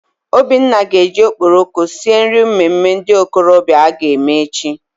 Obinna ga-eji okporoko esi nri mmemme ndị okorobịa aga eme echi.